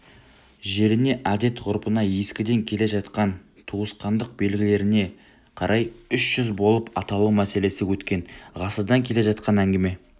жеріне әдет-ғұрпына ескіден келе жатқан туысқандық белгілеріне қарай үш жүз болып аталу мәселесі өткен ғасырдан келе жатқан әңгіме